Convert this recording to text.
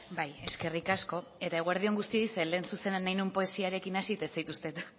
bai eskerrik asko eta eguerdi on guztioi zeren lehen zuzenean nahi nuen poesiarekin hasi eta ez zaituztet